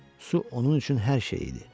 Su onun üçün hər şey idi.